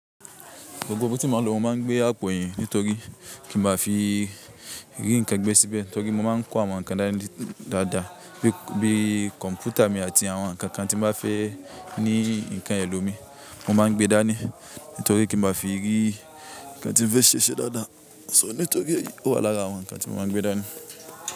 Gbogbo ọtí mo lo máa ń gbé àpò yìí nítorí kí n má fi rí nǹkan gbé síbẹ̀, torí mo máa ń kó àwọn nǹkan dádá bíi kọ̀ǹpútà mi àti àwọn nǹkan kan tí mo bá fẹ́ ní nǹkan ẹlòmíì. Mo máa ń gbé dání nítorí kí n má fi rí nǹkan tí mo fẹ́ ṣe dáadáa. So nítorí ó wà lára àwọn nǹkan tí mo máa ń gbé dání.